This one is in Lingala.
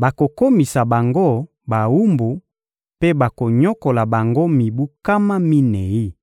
bakokomisa bango bawumbu mpe bakonyokola bango mibu nkama minei.»